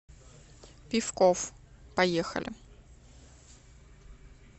пиффков поехали